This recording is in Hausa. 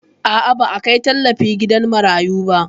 A'a, ba a kai tallafi gidan marayu ba